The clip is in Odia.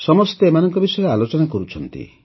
ସମସ୍ତେ ଏମାନଙ୍କ ବିଷୟରେ ଆଲୋଚନା କରୁଛନ୍ତି